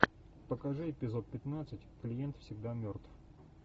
покажи эпизод пятнадцать клиент всегда мертв